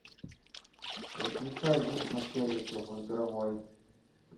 выключай звук на телике в игровой